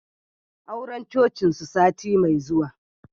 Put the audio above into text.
Auren Cocin su sati mai zuwa